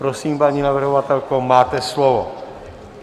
Prosím, paní navrhovatelko, máte slovo.